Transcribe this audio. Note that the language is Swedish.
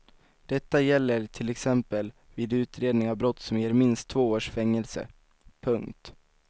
Detta gäller till exempel vid utredning av brott som ger minst två års fängelse. punkt